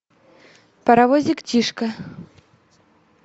паровозик тишка